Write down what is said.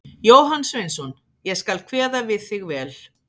Jóhann Sveinsson: Ég skal kveða við þig vel.